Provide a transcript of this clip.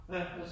Ja